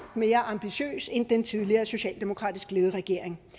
mere ambitiøs end den tidligere socialdemokratisk ledede regering